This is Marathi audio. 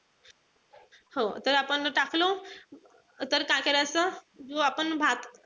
हो तर आपण तो टाकलो तर काय करायचं जो आपण भात